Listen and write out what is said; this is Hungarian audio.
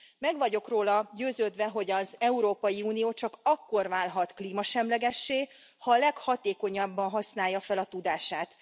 Meg vagyok róla győződve, hogy az Európai Unió csak akkor válhat klímasemlegessé, ha a leghatékonyabban használja fel a tudását.